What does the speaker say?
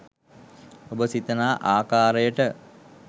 ඔබ සිතනා ආකාරයට